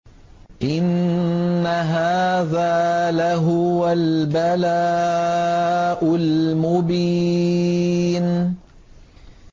إِنَّ هَٰذَا لَهُوَ الْبَلَاءُ الْمُبِينُ